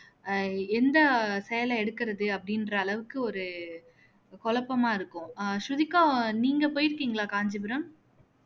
ஆஹ் எந்த சேலை எடுக்குறது அப்படின்ற அளவுக்கு ஒரு குழப்பமா இருக்கும் ஆஹ் ஸ்ருதிகா நீங்க போயிருக்கீங்களா காஞ்சிபுரம்